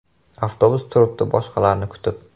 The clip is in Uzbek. Avtobus turibdi boshqalarni kutib.